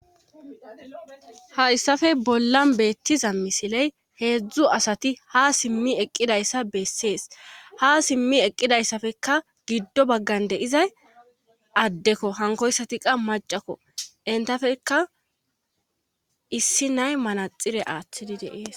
Hayssafe bollan beettiza misiley heedzdzu asati ha simmi eqqidayssa bessees ha simmi eqqidayssafekka giddo baggan deizay addekko hankoyssati qa macakko intafeka issi nay manaxire aaththidi deees.